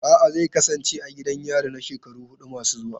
A'a, zai kasance a gidan yari na shekaru hudu masu zuwa.